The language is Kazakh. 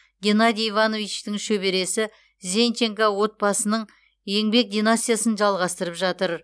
геннадий ивановичтің шөбересі зенченко отбасының еңбек династиясын жалғастырып жатыр